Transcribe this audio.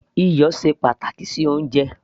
iyọ̀ ṣe pàtàkì sí oúnjẹ